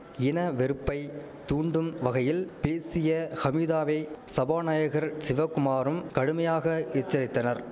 இன வெறுப்பை தூண்டும் வகையில் பேசிய ஹமிதாவை சபாநாயகர் சிவகுமாரும் கடுமையாக எச்சரித்தனர்